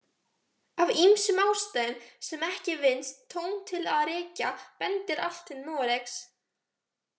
Af ýmsum ástæðum sem ekki vinnst tóm til að rekja bendir allt til Noregs.